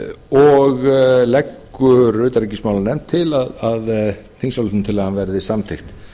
og leggur utanríkismálanefnd til að þingsályktunartillagan verði samþykkt